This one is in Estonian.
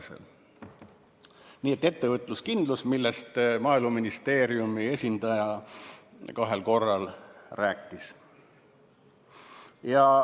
Nii et see on see ettevõtluskindlus, millest Maaeluministeeriumi esindaja kahel korral rääkis.